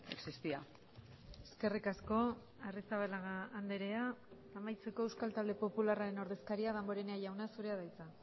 existía eskerrik asko arrizabalaga andrea amaitzeko euskal talde popularraren ordezkaria damborenea jauna zurea da hitza